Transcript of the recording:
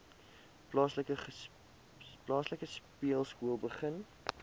plaaslike speelskool begin